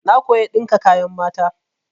Na koya ɗinka kayan mata.